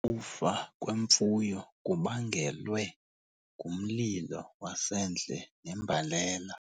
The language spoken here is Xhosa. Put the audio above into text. Ukufa kwemfuyo kubangelwe ngumlilo wasendle nembalela.